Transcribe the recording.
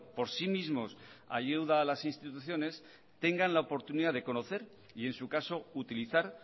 por sí mismos ayuda a las instituciones tengan la oportunidad de conocer y en su caso utilizar